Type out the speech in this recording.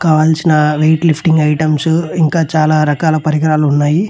కావాల్సిన weight lifting items ఇంకా చాలా రకాల పరికరాలు ఉన్నాయి.